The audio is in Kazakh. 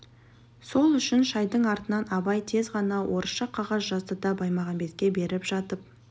сол үшін шайдың артынан абай тез ғана орысша қағаз жазды да баймағамбетке беріп жатып